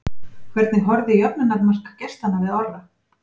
Hvernig horfði jöfnunarmark gestanna við Orra?